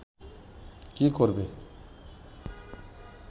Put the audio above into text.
কী করবে